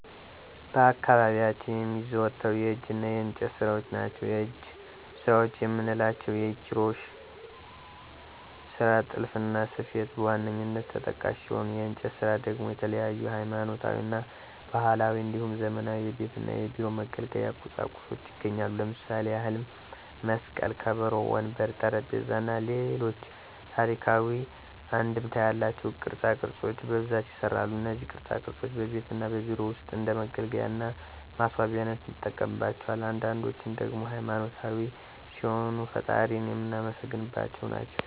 በአካባቢያችን የሚዘወተሩ የእጅ እና የእንጨት ስራዎች ናቸው። የእጅ ስራዎች የምንላቸው የኪሮሽ ስራ፣ ጥልፍና ስፌት በዋነኛነት ተጠቃሽ ሲሆኑ የእንጨት ስራ ደግሞ የተለያዩ ሀይማኖታዊ እና ባህላዊ እንዲሁም ዘመናዊ የቤት እና የቢሮ መገልገያ ቁሳቁሶች ይገኛሉ። ለምሳሌ ያህልም መስቀል፣ ከበሮ፣ ወንበር፣ ጠረጴዛ እና ሌሎች ታሪካዊ አንድምታ ያላቸው ቅርፃ ቅርፆች በብዛት ይሰራሉ። እነዚህ ቅርፃ ቅርፆች በቤት እና በቢሮ ውስጥ እንደ መገልገያ እና ማስዋቢያነት እንጠቀምባቸዋለን። አንዳንዶችን ደግሞ ሃይማኖታዊ ሲሆኑ ፈጣሪን የምናመሰግንባቸው ናቸው።